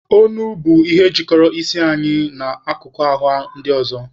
Onu bụ ihe jikọrọ isi na akụkụ ahụ ndị ọzọ.